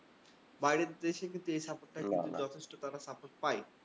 বাইরের দেশে কিন্তু এ support টা কিন্তু যথেষ্ট তারা support পায়।